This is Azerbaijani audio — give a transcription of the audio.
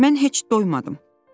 Mən heç doymadım.